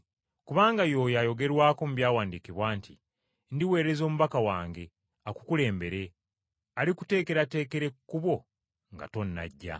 Kubanga ye oyo ayogerwako mu Byawandiikibwa nti, “ ‘Ndiweereza omubaka wange akukulembere, alikuteekerateekera ekkubo nga tonnajja.’